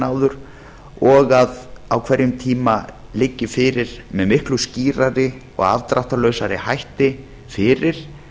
áður og að á hverjum tíma liggi fyrir með miklu skýrari og afdráttarlausari hætti fyrir